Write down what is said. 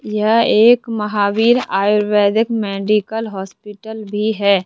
यह एक Mahavir Ayurvedic medical hospital भी है।